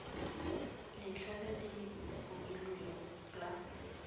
letlha le le beilweng la